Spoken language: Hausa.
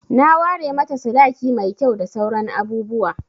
Na ware mata sadaki mai kyau da sauran abubuwa.